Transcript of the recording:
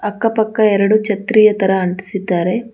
ಅಕ್ಕ ಪಕ್ಕ ಎರಡು ಛತ್ರಿಯ ತರ ಅಂಟಿಸಿದ್ದಾರೆ.